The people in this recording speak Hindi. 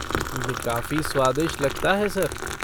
ये काफ़ी स्वादिष्ट लगता है, सर।